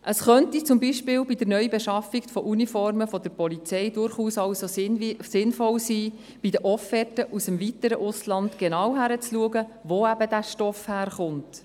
Es könnte zum Beispiel bei der Neubeschaffung von Uniformen der Polizei also durchaus sinnvoll sein, dass man bei den Offerten aus dem weiteren Ausland genau hinschaut, wo der Stoff herkommt.